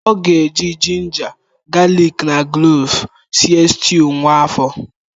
Ọ ga-eji ginger, galik na kloves sie stuu nwa afọ.